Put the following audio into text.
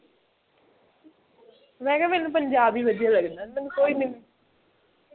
ਮੈਂ ਕਿਹਾ ਮੈਨੂੰ ਪੰਜਾਬ ਹੀ ਵਧੀਆ ਲੱਗਦਾ ਮੈਨੂੰ ਕੋਈ ਨਹੀਂ